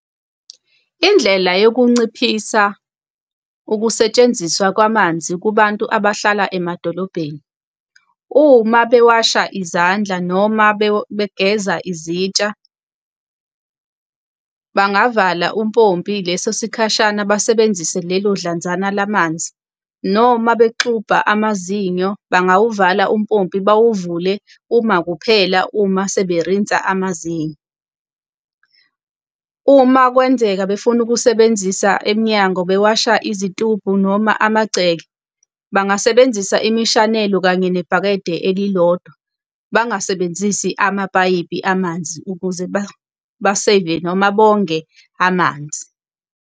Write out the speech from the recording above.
Indlela yokunciphisa ukusetshenziswa kwamanzi kubantu abahlala emadolobheni. Uma bewasha izandla noma begeza izitsha ngavala umpompi leso sikhashana basebenzise lelo dlanzana lamanzi. Noma bexubha amazinyo bangawuvala umpompi bawuvule uma kuphela uma seberinsa amazinyo. Uma kwenzeka befuna ukusebenzisa emnyango bewasha izitubhu noma amagceke, bangasebenzisa imishanelo kanye nebhakede elilodwa, bangasebenzisi amapayipi amanzi ukuze ba-save-e noma bonge amanzi.